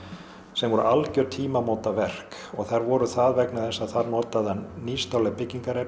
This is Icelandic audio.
sem voru algjör tímamótaverk og þær voru það vegna þess að þar notaði hann nýstárleg byggingarefni